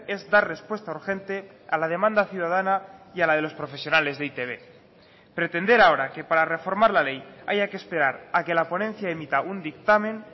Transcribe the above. es dar respuesta urgente a la demanda ciudadana y a la de los profesionales de e i te be pretender ahora que para reformar la ley haya que esperar a que la ponencia emita un dictamen